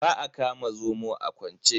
Ba a kama zomo a kwance.